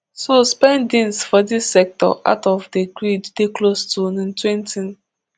so spendings for dis sector out of the grid dey close to ntwentytn